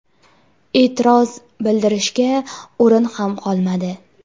E’tiroz bildirishga o‘rin ham qolmadi.